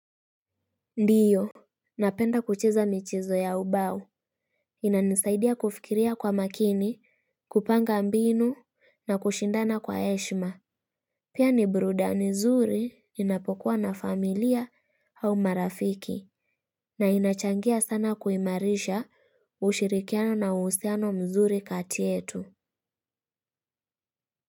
Ndiyo napenda kucheza michezo ya ubao. Inanisaidia kufikiria kwa makini kupanga mbinu na kushindana kwa heshima. Pia ni burudani zuri inapokuwa na familia au marafiki. Na inachangia sana kuimarisha ushirikiano na uhusiano mzuri kati yetu.